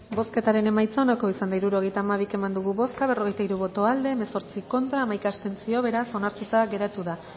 bozketaren emaitza onako izan da hirurogeita hamabi eman dugu bozka berrogeita hiru boto aldekoa hemezortzi contra hamaika abstentzio beraz onartuta geratu da